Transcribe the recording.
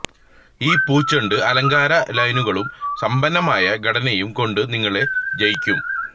ഈ പൂച്ചെണ്ട് അലങ്കാര ലൈനുകളും സമ്പന്നമായ ഘടനയും കൊണ്ട് നിങ്ങളെ ജയിക്കും